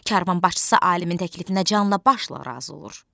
Karvan başçısı alimin təklifinə canla başla razı olur.